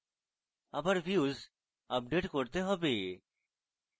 আবার views update করতে হবে